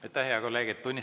Aitäh, hea kolleeg!